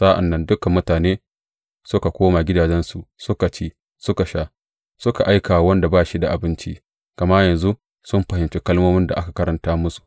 Sa’an nan dukan mutane suka koma gidajensu suka ci, suka sha, suka aika wa wanda ba shi da abinci, gama yanzu sun fahimci kalmomin da aka karanta musu.